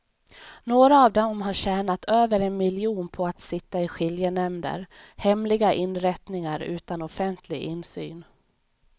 Några av dem har tjänat över en miljon på att sitta i skiljenämnder, hemliga inrättningar utan offentlig insyn.